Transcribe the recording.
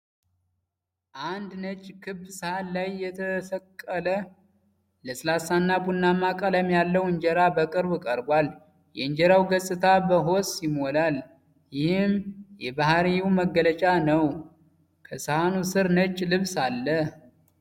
አንድ ነጭ ክብ ሳህን ላይ የተቆለለ ለስላሳና ቡናማ ቀለም ያለው እንጀራ በቅርብ ቀርቧል። የእንጀራው ገጽታ በሆስ ይሞላል፤ ይህም የባህርይው መገለጫ ነው። ከሳህኑ ስር ነጭ ልብስ አለ።